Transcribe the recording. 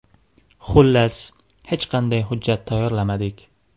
Xullas, hech qanday hujjat tayyorlamadik.